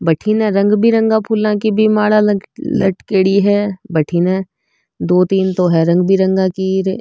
बठीने रंग बिरंगा फूला की भी माला लटकेडी है बठीने दो तीन तो है रंग बिरंगा की।